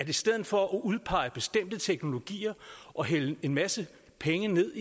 i stedet for at udpege bestemte teknologier og hælde en masse penge ud